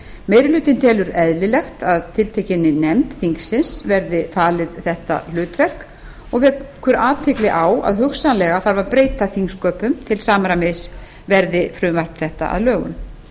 meiri hlutinn telur eðlilegt að tiltekinni nefnd þingsins verði falið þetta hlutverk og vekur athygli á að hugsanlega þarf að breyta þingsköpum til samræmis verði frumvarp þetta að lögum